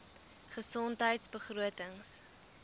gesondheidbegrotings